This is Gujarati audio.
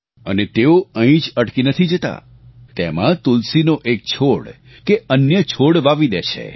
અને તેઓ અહીં જ અટકી નથી જતા તેમાં તુલસીનો એક છોડ કે અન્ય છોડ વાવી દે છે